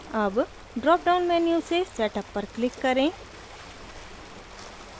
अब drop down menu से setup पर क्लिक करें